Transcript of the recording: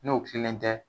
N'o tilennen tɛ